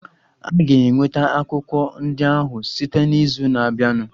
A ga-enweta akwụkwọ ndị ahụ site n'izu na-abịanụ.